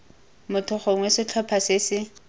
motho gongwe setlhopha se se